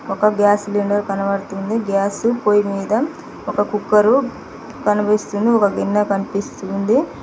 ఒక gas cylinder కనబడుతుంది gas పొయ్యి మీద ఒక కుక్కరు కనిపిస్తుంది ఒక గిన్నె కనిపిస్తుంది.